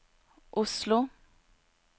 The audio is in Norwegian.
Oslo